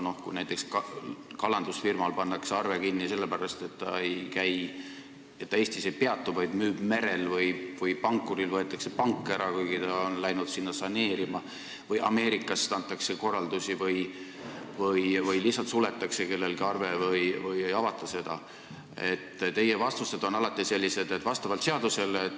Kui näiteks kalandusfirmal pannakse arve kinni sellepärast, et ta Eestis ei peatu, vaid müüb merel, või pankurilt võetakse pank ära, kuigi ta on läinud sinna saneerima, või Ameerikast antakse korraldusi või lihtsalt suletakse kellegi arve või seda ei avata, siis teie vastused on alati sellised: see on vastavalt seadusele.